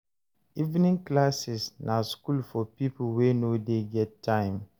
Evening classes na school for pipo wey no dey get time